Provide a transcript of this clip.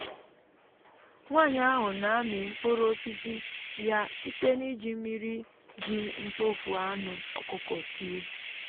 nwanyị ahụ na-amị mkpụrụ osisi ya site n'iji mmiri ji mkpofu anụ ọkụkọ tiwe.